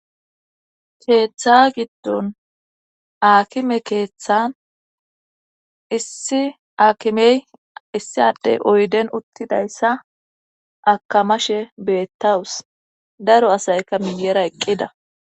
Keeththa giddon aakime keeththan issi aakimey issiade oyden uttidayssa akamashe beettawus daro asayka miyera eqqida.